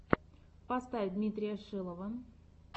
поставь дмитрия шилова